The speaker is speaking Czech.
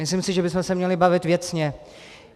Myslím si, že bychom se měli bavit věcně.